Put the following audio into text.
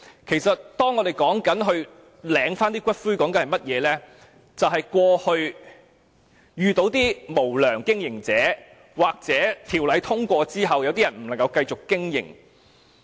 其實，提出領回骨灰，是鑒於過去曾有無良經營者，又或在《條例草案》通過後一些龕場不能再繼續經營。